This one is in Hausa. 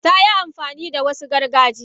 Tayi amfani da Wasu gargajiya.